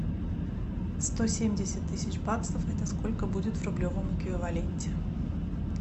сто семьдесят тысяч баксов это сколько будет в рублевом эквиваленте